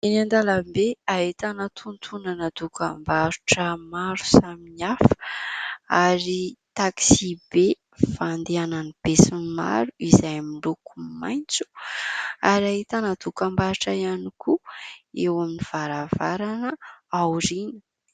Eny an-dalambe ahitana tontonana dokam-barotra maro samihafa, ary taksi be fandehanan'ny besinimaro izay miloko maitso ary ahitana dokam- barotra iany koa eo amin'ny varavarana aoriana.